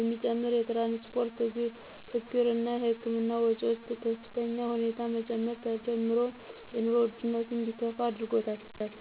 የሚጨምር የትራንስፖርት ችግር እና የህክምና ወጮች በከፍተኛ ሁኔታ መጨመር ተዳምሮ የኑሮ ውድነቱ እንዲከፋ አድርጎታል።